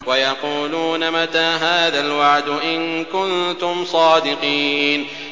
وَيَقُولُونَ مَتَىٰ هَٰذَا الْوَعْدُ إِن كُنتُمْ صَادِقِينَ